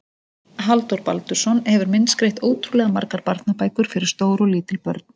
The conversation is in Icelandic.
Halldór Baldursson hefur myndskreytt ótrúlega margar barnabækur fyrir stór og lítil börn.